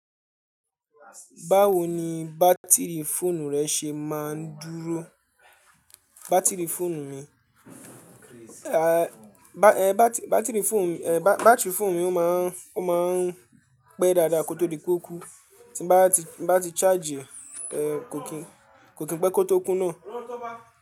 Báwo ni bátìrì fóònù rẹ ṣe máa ń dúró? Bátìrì fóònù mi, bátìrì fóònù mi ó máa ń pẹ́ dáadáa kó tó di pé ó kú, tí bá ti charge e kò kí pé kó tó kú náà.